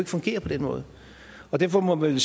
fungere på den måde derfor må man